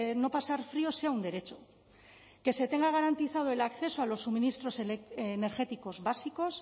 no pasar frío sea un derecho que se tenga garantizado el acceso a los suministros energéticos básicos